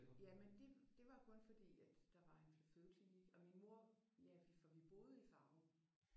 Ja men det det var kun fordi at der var en fødeklinik og min mor ja for vi boede i Farum